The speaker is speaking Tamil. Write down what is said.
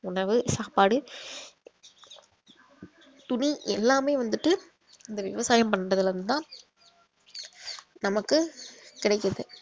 உணவு சாப்பாடு துணி எல்லாமே வந்துட்டு இந்த விவசாயம் பண்றதுல இருந்து தான் நமக்கு கிடைக்குது